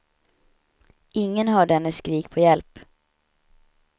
Ingen hörde hennes skrik på hjälp.